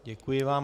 Děkuji vám.